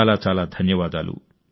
చాలా చాలా ధన్యవాదాలు